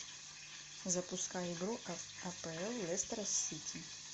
запускай игру апл лестера с сити